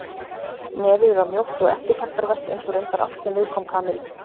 Nefið var mjótt og eftirtektarvert eins og reyndar allt sem viðkom Kamillu.